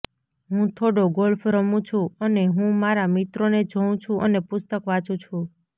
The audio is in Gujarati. હું થોડો ગોલ્ફ રમું છું અને હું મારા મિત્રોને જોઉં છું અને પુસ્તક વાંચું છું